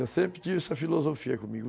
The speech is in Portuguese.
Eu sempre tive essa filosofia comigo.